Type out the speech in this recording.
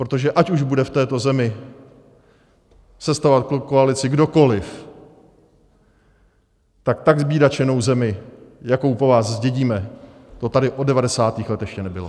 Protože ať už bude v této zemi sestavovat koalici kdokoli, tak tak zbídačenou zemi, jakou po vás zdědíme, to tady od 90. let ještě nebylo.